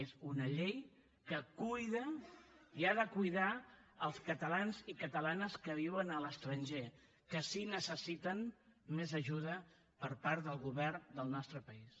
és una llei que cuida i ha de cuidar els catalans i catalanes que viuen a l’estranger que sí que necessiten més ajuda per part del govern del nostre país